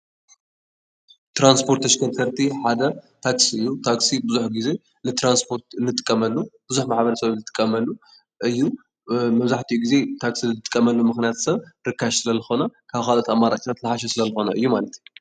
ትራንስፖርት ተሽከርከርቲ ሓደ ታክሲ እዩ። ታክሲ ብዙሕ ግዘ ንትራንስፖርት እንጥቀመሉ ብዙሕ ማሕበረሰብ ዝጥቀመሉ እዩ። መብዛሕትኡ ግዘ ታክሲ ዝጥቀምሉ ምክንያት ሰብ ርካሽ ስለዝኾነ ካብ ካልኦት አማራፅታት ዝሓሸ ስለዝኾነ ማለት እዩ።